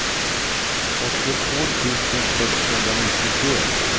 åttiotvå tusen sexhundranittiotre